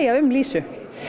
um lýsu